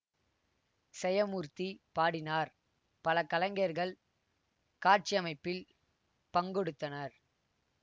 செயமூர்த்தி பாடினார் பல கலைஞர்கள் காட்சியமைப்பில் பங்கொடுத்தனர்